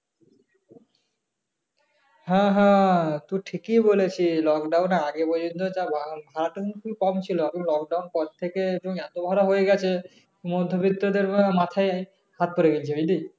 হ্যাঁ হ্যাঁ তুই ঠিকই বলেছিস lockdown এর আগে বুঝিস ভাড়াটা কিন্তু কম ছিল এখন lockdown পর থেকে এত ভাড়া হয়ে গেছে মধ্যবিত্ত মাথায় হাত পড়ে গেছে বুঝলি